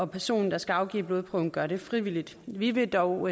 personen der skal afgive blodprøven gør det frivilligt vi vil dog